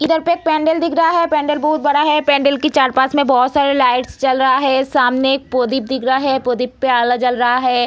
इधर पे एक पेंडल दिख रहा हैं पेंडल बहुत बड़ा हैं पेंडल के चार पाँच मे बहुत सारे लाईट जल रहा है सामने एक पोदिप दिख रहा है पोदिप पे आला जल रहा है।